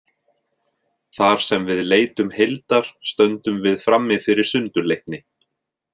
Þar sem við leitum heildar stöndum við frammi fyrir sundurleitni.